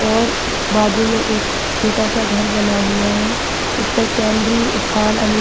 और बाजु में एक छोटा-सा एक घर बना हुआ है इसपे केंद्रीय उफान अनु--